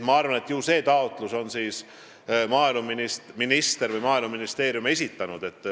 Ma arvan, et ju on selle taotluse maaeluminister või Maaeluministeerium esitanud.